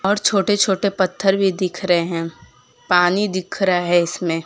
और छोटे छोटे पत्थर भी दिख रहे हैं पानी दिख रहा है इसमें।